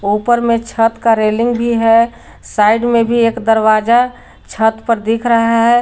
ऊपर में छत का रेलिंग भी है साइड में भी एक दरवाजा छत पर दिख रहा है।